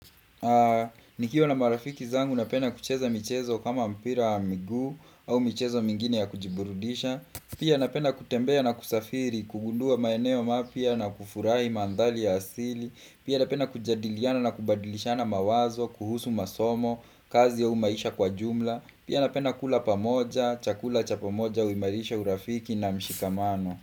Nikiwa na marafiki zangu napenda kucheza michezo kama mpira wa miguu au michezo mingine ya kujiburudisha Pia napenda kutembea na kusafiri, kugundua maeneo mapyia na kufurahi mandhali ya asili Pia napenda kujadiliana na kubadilishana mawazo, kuhusu masomo, kazi ao maisha kwa jumla Pia napenda kula pamoja, chakula cha pamoja, uimarisha urafiki na mshikamano.